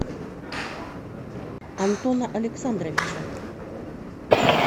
антона александровича